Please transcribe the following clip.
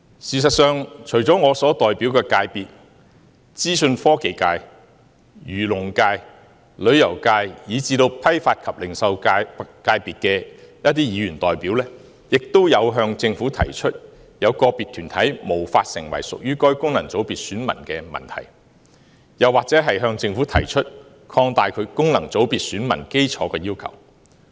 事實上，除了我所代表的界別，資訊科技界、漁農界、旅遊界，以至批發及零售界的議員代表，也曾向政府提出，有個別團體無法成為屬於該功能界別選民的問題，又或是向政府提出擴大其功能界別選民基礎的要求。